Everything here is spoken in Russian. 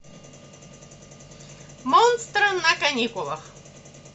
монстры на каникулах